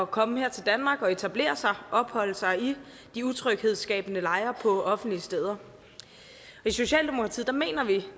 komme her til danmark og etablere sig og opholde sig i de utryghedsskabende lejre på offentlige steder i socialdemokratiet mener vi